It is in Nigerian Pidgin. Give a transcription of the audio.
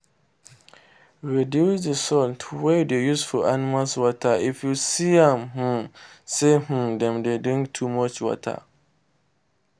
reduce d salt wey u dey use for animal water if you see um say um dem dey drink too much water